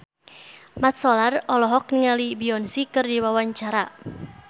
Mat Solar olohok ningali Beyonce keur diwawancara